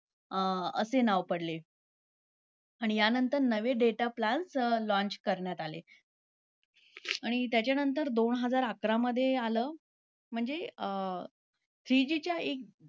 अं असे नाव पडले. आणि ह्यानंतर नवे data plans launch करण्यात आले. आणि त्याच्यानंतर दोन हजार अकरामध्ये आलं, म्हणजे अं three G च्या एक